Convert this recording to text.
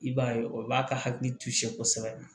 I b'a ye o b'a ka hakili to sekosɛbɛ